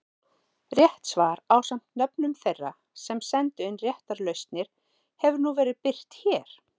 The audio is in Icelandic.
Rétt svar ásamt nöfnum þeirra sem sendu inn réttar lausnir hefur nú verið birt hér.